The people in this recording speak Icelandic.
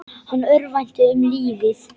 Hann örvænti um lífið.